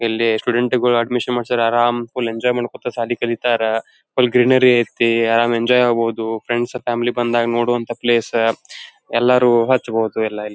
ಇಲ್ಲಿ ಸ್ಟುಡೆಂಟ್ಸ್ಗಳು ಅಡ್ಮಿಶನ್ ಮಾಡಿದ್ರೆ ಆರಂ ಫುಲ್ ಎಂಜಾಯ್ ಮಾಡಿ ಕೂತು ಶಾಲಿ ಕಲಿತರ ಫುಲ್ ಗ್ರೀನರಿ ಅಯ್ತ್ನಿ ಆರಂ ಎಂಜಾಯ್ ಆಗ್ಬಹುದು ಫ್ರೆಂಡ್ಸ್ ಫ್ಯಾಮಿಲಿ ಎಲ್ಲ ಬಂದಾಗ ನೋಡುವಂಥ ಪ್ಲೇಸ್ ಎಲ್ಲರೂ ಹಚ್ಬಹುದು.